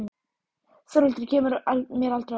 Þórhildur kemur mér aldrei á óvart.